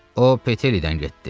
O Petelidən getdi.